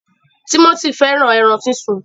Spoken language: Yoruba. Timothy fẹràn ẹran sísun.